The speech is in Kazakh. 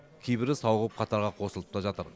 кейбірі сауығып қатарға қосылып та жатыр